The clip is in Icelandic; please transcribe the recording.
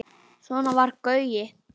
Svona var Gaui.